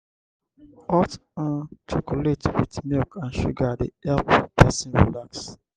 hot um chocolate with milk and sugar dey help pesin relax.